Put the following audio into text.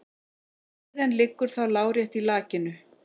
Iðan liggur þá lárétt í lakinu.